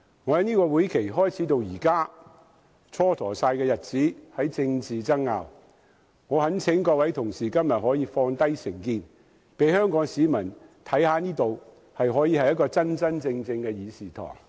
本屆會期開始至今，日子都因政治爭拗而蹉跎，我懇請各位同事今天放下成見，讓香港市民看看這裏是一個真真正正的議事堂。